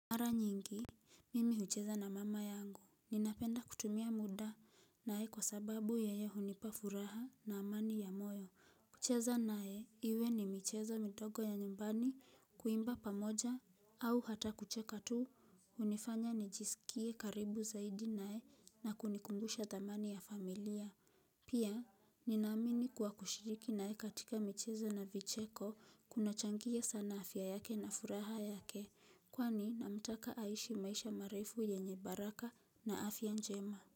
Mara nyingi, mimi hucheza na mama yangu. Ninapenda kutumia muda naye kwa sababu yeye hunipa furaha na amani ya moyo. Kucheza naye, iwe ni michezo midogo ya nyumbani kuimba pamoja au hata kucheka tu. Hunifanya nijisikie karibu zaidi naye na kunikumbusha thamani ya familia. Pia, ninaamini kuwa kushiriki naye katika michezo na vicheko kunachangia sana afya yake na furaha yake. Kwani namtaka aishi maisha marefu yenye baraka na afya njema.